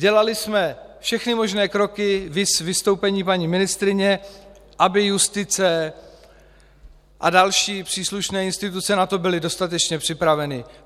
Dělali jsme všechny možné kroky, viz vystoupení paní ministryně, aby justice a další příslušné instituce na to byly dostatečně připraveny.